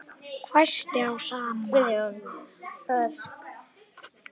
hvæsti Ása amma.